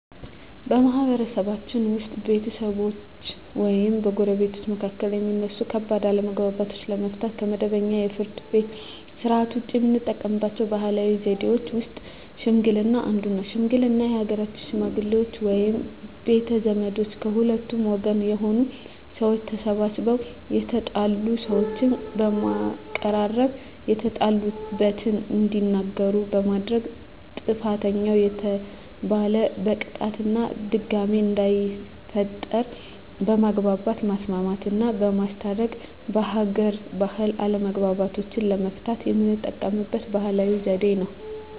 በማህበረሰብችን ውስጥ በቤተሰቦች ወይም በጎረቤቶች መካከል የሚነሱ ከባድ አለመግባባቶችን ለመፍታት (ከመደበኛው የፍርድ ቤት ሥርዓት ውጪ) የምንጠቀምባቸው ባህላዊ ዘዴዎች ውስጥ ሽምግልና አንዱ ነው። ሽምግልና የሀገር ሽመግሌዎች ወይም ቤተ ዘመዶች ከሁለቱም ወገን የሆኑ ሰዎች ተሰባስበው የተጣሉ ሰዎችን በማቀራረብ የተጣሉበትን እንዲናገሩ በማድረግ ጥፋተኛ የተባለን በቅጣት እና ድጋሜ እንዳይፈጠር በማግባባት ማስማማትና በማስታረቅ በሀገር ባህል አለመግባባቶችን ለመፍታት የምንጠቀምበት ባህላዊ ዘዴ ነው።